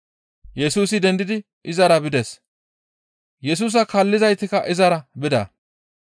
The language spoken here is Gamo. Yesusi dendidi izara bides; Yesusa kaallizaytikka izara bida.